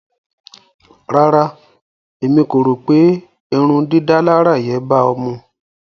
Rárá, Émi ko ro pe ìrundidàlarà yén ba ọ̀ mu.